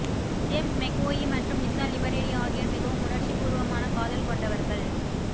James McAvoy மற்றும் Lisa லிபரேடி ஆகியோர் மிகவும் உணர்ச்சிப்பூர்வமான காதல் கொண்டவர்கள்